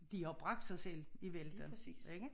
De har bragt sig selv i vælten ikke?